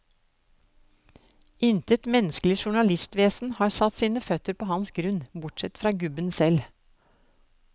Intet menneskelig journalistvesen har satt sine føtter på hans grunn, bortsett fra gubben selv.